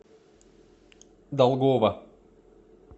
долгова